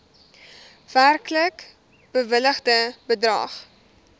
werklik bewilligde bedrag